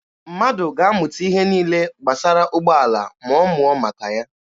Mmadụ ga-amụta ihe niile gbasara ụgbọala ma ọ mụọ maka ya.